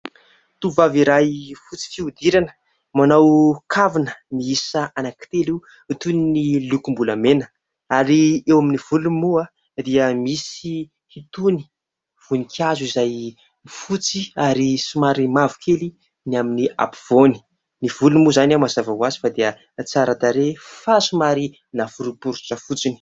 Tovovavy iray fotsy fihodirana manao kavina miisa anankitelo toy ny lokom-bolamena ary eo amin'ny volony moa dia misy itony voninkazo izay fotsy ary somary mavo kely ny amin'ny ampovoany. Ny volony moa izany mazava hoazy fa dia tsara tarehy fa somary naforoporotra fotsiny.